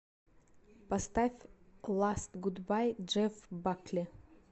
поставь ласт гудбай джефф бакли